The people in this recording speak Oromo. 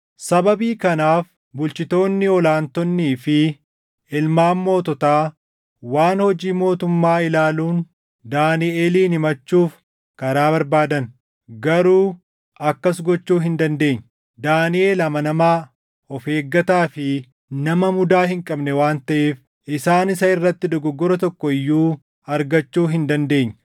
Sababii kanaaf bulchitoonni ol aantonnii fi ilmaan moototaa waan hojii mootummaa ilaaluun Daaniʼelin himachuuf karaa barbaadan; garuu akkas gochuu hin dandeenye. Daaniʼel amanamaa, of eeggataa fi nama mudaa hin qabne waan taʼeef isaan isa irratti dogoggora tokko iyyuu argachuu hin dandeenye.